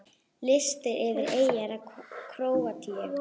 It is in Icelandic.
Listi yfir eyjar í Króatíu